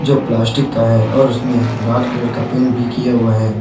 जो प्लास्टिक का है और उसमें राड कलर का पेंट भी किया हुआ है।